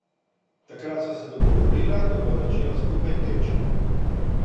Takrat sva se dogovorila, da bova začela skupaj teči...